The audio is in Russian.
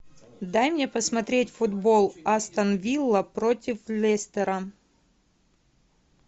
дай мне посмотреть футбол астон вилла против лестера